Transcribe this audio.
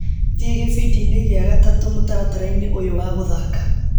Thiĩ gĩbindi-inĩ gĩa gatatũ mũtaratara-inĩ ũyũ wa gũthaka.